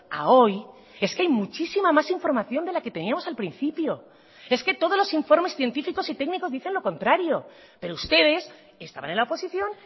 a hoy es que hay muchísima más información de la que teníamos al principio es que todos los informes científicos y técnicos dicen lo contrario pero ustedes estaban en la oposición